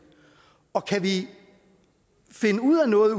og kan vi finde ud af noget